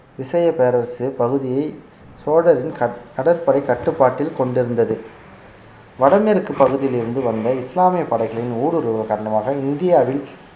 விசய பேரரசு பகுதியை சோழரின் கட்~ கடற்படை கட்டுப்பாட்டில் கொண்டிருந்தது வடமேற்கு பகுதியில் இருந்து வந்த இஸ்லாம்ய படைகளின் ஊடுருவல் காரணமாக இந்தியாவில்